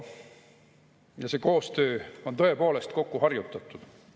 Ja see koostöö on tõepoolest kokkuharjutatud.